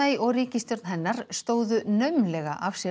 og ríkisstjórn hennar stóðu naumlega af sér